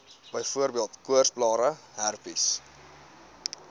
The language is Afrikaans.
byvoorbeeld koorsblare herpes